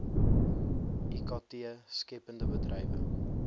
ikt skeppende bedrywe